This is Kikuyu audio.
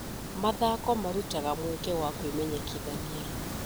Mathako marutaga mweke wa kwĩmenyekithania.